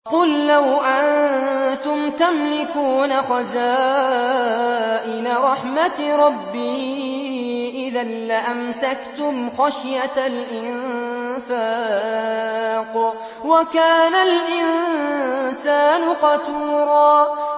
قُل لَّوْ أَنتُمْ تَمْلِكُونَ خَزَائِنَ رَحْمَةِ رَبِّي إِذًا لَّأَمْسَكْتُمْ خَشْيَةَ الْإِنفَاقِ ۚ وَكَانَ الْإِنسَانُ قَتُورًا